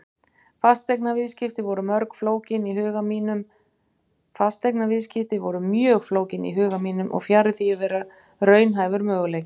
Fasteignaviðskipti voru mjög flókin í huga mínum og fjarri því að vera raunhæfur möguleiki.